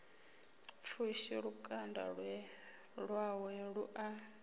pfushi lukanda lwawe lu a